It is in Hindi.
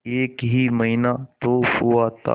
एक ही महीना तो हुआ था